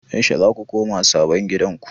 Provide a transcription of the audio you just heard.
Yaushe za ku koma sabon gidanku?